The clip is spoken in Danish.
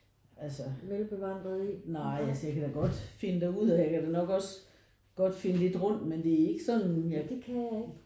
Altså nej altså jeg kan da godt finde derud og jeg kan da nok også finde lidt rundt men det er ikke sådan